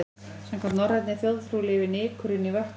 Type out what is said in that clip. Samkvæmt norrænni þjóðtrú lifur nykurinn í vötnum.